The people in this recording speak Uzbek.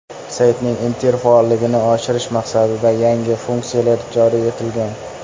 Saytning interfaolligini oshirish maqsadida yangi funksiyalar joriy etilgan.